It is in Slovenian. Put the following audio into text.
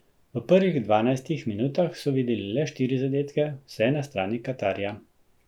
V prvih dvanajstih minutah so videli le štiri zadetke, vse na strani Katarja.